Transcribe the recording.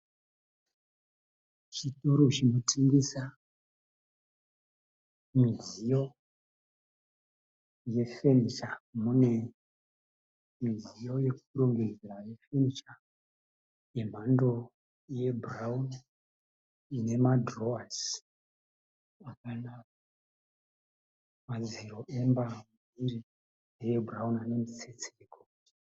Chitoro chinotengesa midziyo yefenicha. Mune midziyo yekurongedzera yefenicha yemhando yebhurauni inemadhirowasi akanaka. Madziro emba iyi ndeebhurauni anemitsetse yegoridhe.